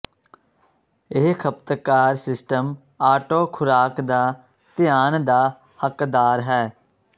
ਇਹ ਖਪਤਕਾਰ system auto ਖੁਰਾਕ ਦਾ ਧਿਆਨ ਦਾ ਹੱਕਦਾਰ ਹੈ